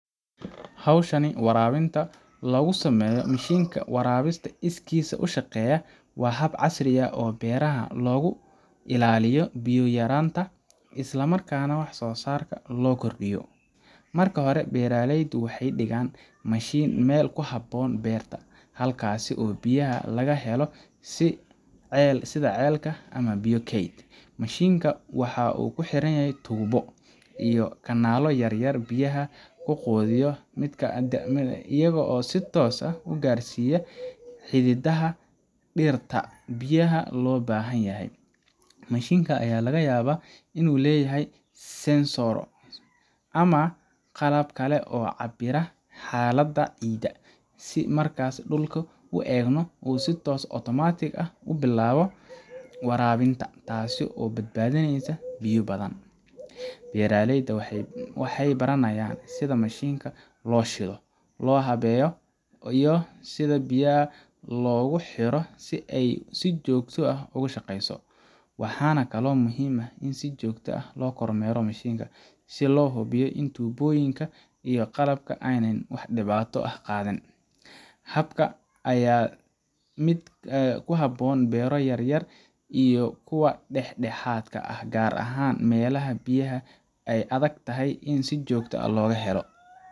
Hawshan waraabinta oo lagu sameeyo mashiinka waraabinta iskiis u shaqeeya waa hab casri ah oo beeraha looga ilaaliyo biyo yaraanta isla markaana wax-soosaarka loo kordhiyo. Marka hore, beeraleyda waxay dhigaan mashiinka meel ku habboon beeraha, halkaasoo biyaha laga helo sida ceel ama biyo kayd. Mashiinka waxaa ku xiran tuubooyin iyo kanaalo yaryar oo biyaha u gudbiya dhirta, iyagoo si toos ah u gaarsiinaya xididdada dhirta biyaha loo baahan yahay. Mashiinkan ayaa laga yaabaa inuu leeyahay sensor ama qalab kale oo cabira xaaladda ciidda, si marka dhulka uu engego uu si otomaatig ah u bilaabo waraabinta, taasoo badbaadinaysa biyo badan. Beeraleyda waxay baranayaan sida mashiinkan loo shido, loo habeeyo, iyo sida biyaha loogu xiro si ay si joogto ah ugu shaqeeyo. Waxaa kaloo muhiim ah in si joogto ah loo kormeero mashiinka, si loo hubiyo in tuubooyinka iyo qalabka aanay wax dhibaato ah qabin. Habkan ayaa ah mid ku habboon beero yaryar iyo kuwa dhexdhexaad ah, gaar ahaan meelaha biyaha ay adag tahay in si joogto ah loo helo.